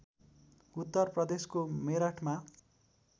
उत्तर प्रदेशको मेरठमा